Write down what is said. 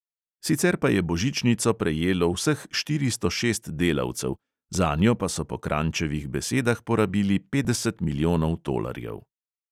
Sicer pa je božičnico prejelo vseh štiristo šest delavcev, zanjo pa so po kranjčevih besedah porabili petdeset milijonov tolarjev.